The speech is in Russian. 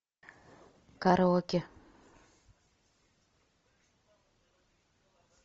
караоке